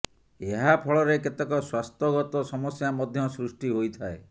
ଏହା ଫଳରେ କେତେକ ସ୍ୱାସ୍ଥ୍ୟଗତ ସମସ୍ୟା ମଧ୍ୟ ସୃଷ୍ଟି ହୋଇଥାଏ